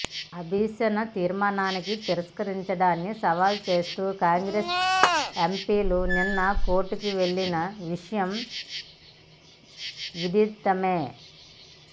అభిశంసన తీర్మానాన్ని తిరస్కరించడాన్ని సవాల్ చేస్తూ కాంగ్రెస్ ఎంపీలు నిన్న కోర్టుకు వెళ్లిన విషయం విదితమే